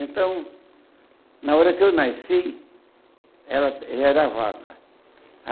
Então, na hora que eu nasci, ela já era a vaca.